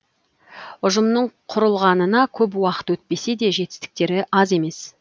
ұжымның құрылғанына көп уақыт өтпесе де жетістіктері аз емес